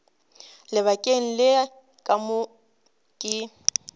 lebakeng le ka moka ke